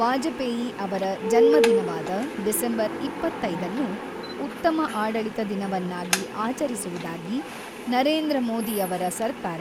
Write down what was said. ವಾಜಪೇಯಿ ಅವರ ಜನ್ಮದಿನವಾದ ಡಿಸೆಂಬರ್ ಇಪ್ಪತೈದನ್ನು ಉತ್ತಮ ಆಡಳಿತ ದಿನವನ್ನಾಗಿ ಆಚರಿಸುವುದಾಗಿ ನರೇಂದ್ರ ಮೋದಿಯವರ ಸರ್ಕಾರ